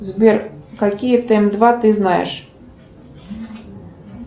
сбер какие тэм два ты знаешь